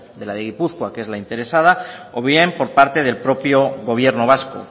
de la de gipuzkoa que es la interesada o bien por parte del propio gobierno vasco